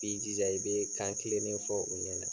I b'i jija i bɛ kan kelen de fɔ u ɲɛ na.